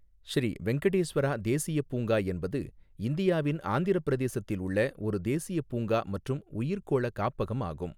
ஸ்ரீ வெங்கடேஸ்வரா தேசியப் பூங்கா என்பது இந்தியாவின் ஆந்திரப் பிரதேசத்தில் உள்ள ஒரு தேசியப் பூங்கா மற்றும் உயிர்க்கோள காப்பகம் ஆகும்.